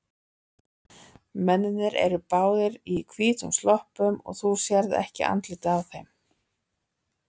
Mennirnir eru báðir í hvítum sloppum og þú sérð ekki andlitið á þeim.